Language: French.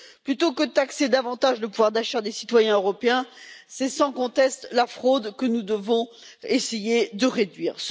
Plutôt que de taxer davantage le pouvoir d'achat des citoyens européens, c'est sans conteste la fraude que nous devons essayer de réduire.